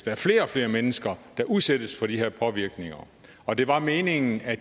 er flere og flere mennesker der udsættes for de her påvirkninger og det var meningen at